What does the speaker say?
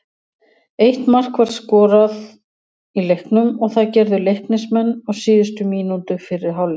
Eitt mark var skoraði í leiknum og það gerðu Leiknismenn á síðustu mínútu fyrri hálfleiks.